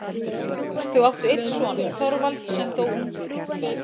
Þau áttu einn son, Þorvald, sem dó ungur.